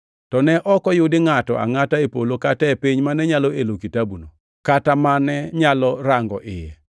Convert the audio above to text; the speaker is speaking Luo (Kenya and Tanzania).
To ne ok oyudi ngʼato angʼata e polo kata e piny mane nyalo elo kitabuno, kata mane nyalo rango iye.